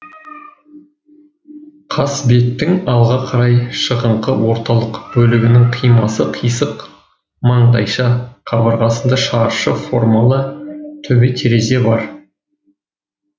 қасбеттің алға қарай шығыңқы орталық бөлігінің қимасы қисық маңдайша қабырғасында шаршы формалы төбетерезе бар